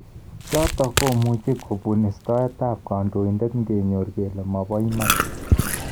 chotok komuch kobun istaet ab kandoindet ngenyor kele mabo iman.